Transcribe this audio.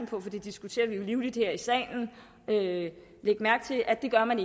på for det diskuterer vi jo livligt her i salen lægge mærke til at det gør man